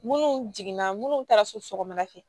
Munnu jiginna munnu taara so sɔgɔmada fɛ